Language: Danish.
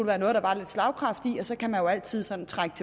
være noget der var lidt slagkraft i og så kan man altid sådan trække